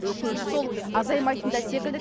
өкініштісі сол азаймайтын да секілді